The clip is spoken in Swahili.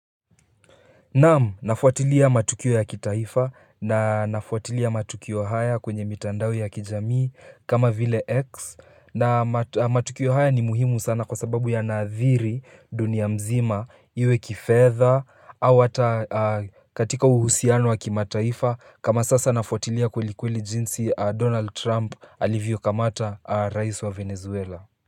Naamu, nafotilia matukio ya kitaifa na nafotilia matukio haya kwenye mitandawe ya kijamii kama vile X na matukio haya ni muhimu sana kwa sababu ya nadhiri dunia mzima iwe kifeza Awata katika uhusianwa kima taifa kama sasa nafotilia kulikwili jinsi Donald Trump alivyo kamata rais wa Venezuela.